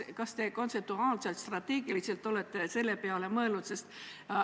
Kas te kontseptuaalselt-strateegiliselt olete selle peale mõelnud?